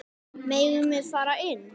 Megum við fara inn?